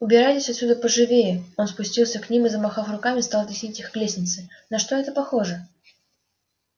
убирайтесь отсюда поживее он спустился к ним и замахав руками стал теснить их к лестнице на что это похоже